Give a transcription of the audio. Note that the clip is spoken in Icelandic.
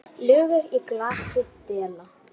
Lögur í glasi dela.